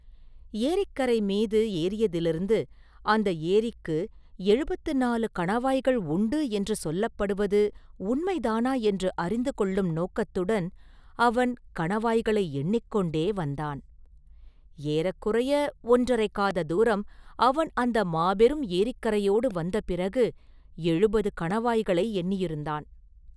ஏரிக்கரை மீது ஏறியதிலிருந்து அந்த ஏரிக்கு எழுபத்துநாலு கணவாய்கள் உண்டு என்று சொல்லப்படுவது உண்மைதானா என்று அறிந்து கொள்ளும் நோக்கத்துடன் அவன் கணவாய்களை எண்ணிக் கொண்டே வந்தான்.ஏறக்குறைய ஒன்றரைக் காத தூரம் அவன் அந்த மாபெரும் ஏரிக்கரையோடு வந்த பிறகு எழுபது கணவாய்களை எண்ணியிருந்தான்.